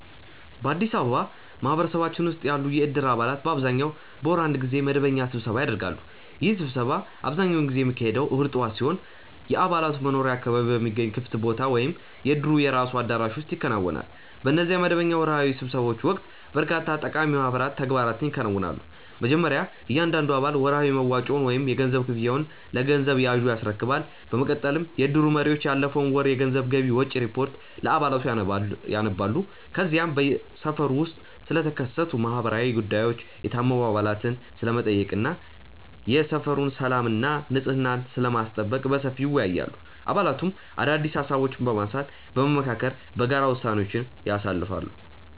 በአዲስ አበባ ማህበረሰባችን ውስጥ ያሉ የእድር አባላት በአብዛኛው በወር አንድ ጊዜ መደበኛ ስብሰባ ያደርጋሉ። ይህ ስብሰባ አብዛኛውን ጊዜ የሚካሄደው እሁድ ጠዋት ሲሆን፣ የአባላቱ መኖሪያ አካባቢ በሚገኝ ክፍት ቦታ ወይም የእድሩ የራሱ አዳራሽ ውስጥ ይከናወናል። በእነዚህ መደበኛ ወርሃዊ ስብሰባዎች ወቅት በርካታ ጠቃሚ ማህበራዊ ተግባራት ይከናወናሉ። መጀመሪያ እያንዳንዱ አባል ወርሃዊ መዋጮውን ወይም የገንዘብ ክፍያውን ለገንዘብ ያዡ ያስረክባል። በመቀጠልም የእድሩ መሪዎች ያለፈውን ወር የገንዘብ ገቢና ወጪ ሪፖርት ለአባላቱ ያነባሉ። ከዚያም በሰፈሩ ውስጥ ስለተከሰቱ ማህበራዊ ጉዳዮች፣ የታመሙ አባላትን ስለመጠየቅ እና የሰፈሩን ሰላምና ንጽሕና ስለማስጠበቅ በሰፊው ይወያያሉ። አባላቱም አዳዲስ ሃሳቦችን በማንሳትና በመመካከር በጋራ ውሳኔዎችን ያሳልፋሉ።